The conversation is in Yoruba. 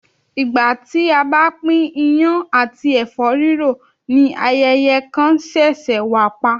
Ìgbà tí a bá pín iyán àti ẹ̀fọ́ rírò ni ayẹyẹ kan ṣẹ̀ṣẹ̀ wà pa